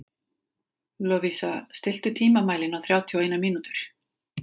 Lovísa, stilltu tímamælinn á þrjátíu og eina mínútur.